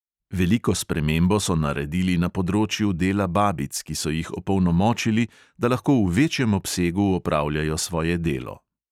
Veliko spremembo so naredili na področju dela babic, ki so jih opolnomočili, da lahko v večjem obsegu opravljajo svoje delo.